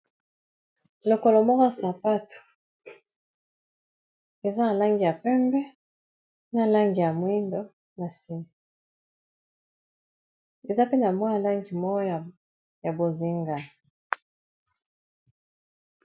lokolo moko a sapato eza na langi ya pembe na langi ya mwindo nase eza pena mwa ya langi moko ya bozinga